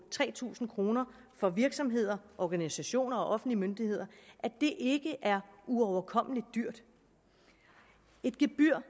tre tusind kroner for virksomheder organisationer og offentlige myndigheder ikke er uoverkommelig dyrt et gebyr